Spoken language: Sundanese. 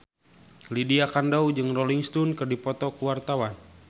Lydia Kandou jeung Rolling Stone keur dipoto ku wartawan